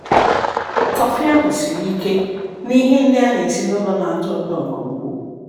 Kọfị ahụ siri ike, na ihe ndị a na-esi nụlọ na-atọ ụtọ nke ukwuu.